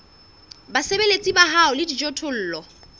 basebeletsi ba hao le dijothollo